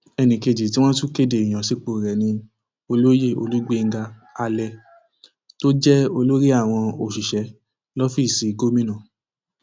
ẹnì kejì tí wọn tún kéde ìyànsípò rẹ ni olóyè olùgbéńga alẹ tó jẹ olórí àwọn òṣìṣẹ lọfíìsì gómìnà